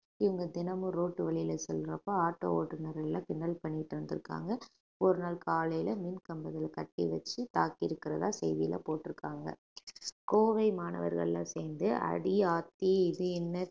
இவங்க தினமும் ரோட்டு வழியில செல்றப்ப ஆட்டோ ஓட்டுனர்கள் எல்லாம் கிண்டல் பண்ணிட்டு இருந்திருக்காங்க ஒரு நாள் காலையில மின்கம்பங்கள் கட்டி வச்சு தாக்கி இருக்கிறதா செய்தியில போட்டிருக்காங்க கோவை மாணவர்கள்ல சேர்ந்து அடி ஆதி இது என்ன